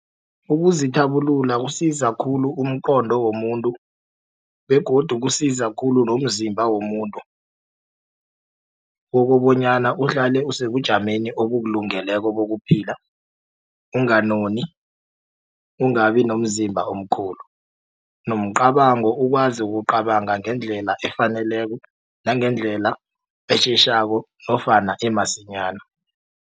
Ukuzithabulula kusiza khulu umqondo womuntu begodu kusiza khulu nomzimba womuntu ukobonyana uhlale usebujameni obukulungeleko bokuphila unganoni ungabi nomzimba omkhulu nomcabango ukwazi ukucabanga ngendlela efaneleko nangendlela esheshako nofana emasinyana.